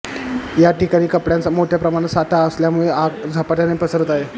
या ठिकाणी कपड्यांचा मोठ्या प्रमाणात साठा असल्यामुळे आग झपाट्याने पसरत आहे